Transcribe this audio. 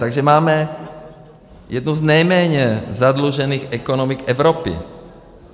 Takže máme jednu z nejméně zadlužených ekonomik Evropy.